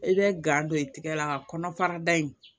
I bɛ gan don i tɛgɛ la nka kɔnɔfara da in